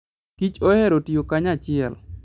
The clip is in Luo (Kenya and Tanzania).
Kich ohero tiyo kanyachiel.